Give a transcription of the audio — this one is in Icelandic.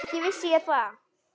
Ekki vissi ég það.